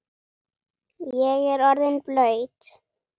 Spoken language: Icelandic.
Ég er orðinn blaut